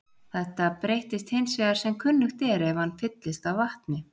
Þetta breytist hins vegar sem kunnugt er ef hann fyllist af vatni.